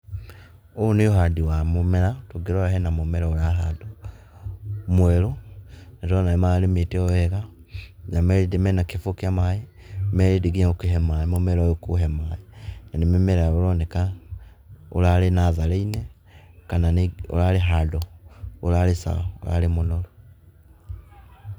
Ũyũ nĩ ũhandi wa mũmera tũngĩrora hena mũmera ũrahandwo mwerũ. Nĩndĩrona nĩmararĩmĩte o ũũ wega . me rĩndĩ na kĩbũyũ kĩa maaĩ me ready gũkĩhe mũmera ũyũ kũũe maaĩ. Nĩ mũmera ũroneka ũrarĩ natharĩinĩ kana ũrarĩ handũ ũrarĩ sawa mũno.